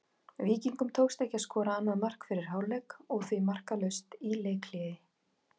Víkingum tókst ekki að skora annað mark fyrir hálfleik og því markalaust í leikhléi.